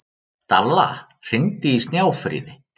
Dalla, hringdu í Snjáfríði.